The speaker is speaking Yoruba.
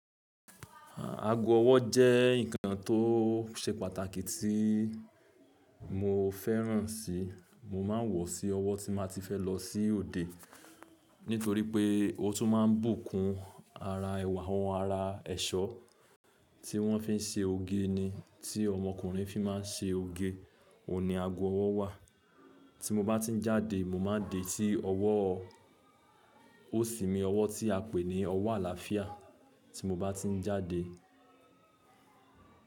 Ago ọwọ́ jẹ́ nǹkan tó ṣe pàtàkì tí mo fẹ́ràn si. Mo máa ń wọ̀ sí ọwọ́ tí má ti fẹ́ lọ sí òde. Nítorí pé ó tún máa ń bùkún ara ẹwà àwọn ara ẹ̀ṣọ́ tí wọ́n fi ń ṣe oge ni. Tí ọmọkùnrin fi má ń ṣe oge, òní ago ọwọ́ wà. Tí mo bá ti ń jáde, mo máa ń dè sí ọwọ́– ó sì mi ọwọ́ tí a pè ní ọwọ́ àlàáfíà tí mo bá ti ń jáde.